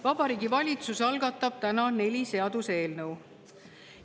Vabariigi Valitsus algatab täna neli seaduseelnõu.